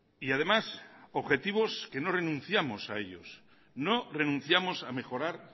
y además objetivos que no renunciamos a ellos no renunciamos a mejorar